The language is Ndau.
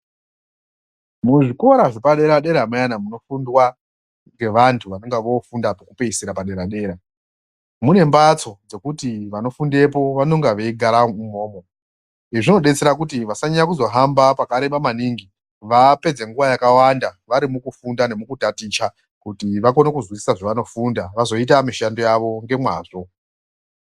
Muzvikora zvepadera dera muyani munofundwa ngevantu vanengevofunda kekupedzisira padera dera ,munembatso dzokuti vanofundepo vanonga veyigara imomo, izvo zvinodetsera kuti vasanyanye kuhamba pakareba maningi vapedze nguva yakawanda vari mukufunda nekutaticha kuti vakone kuzwisisa zvavanofunda vazoita mishando yavo ngemazvo.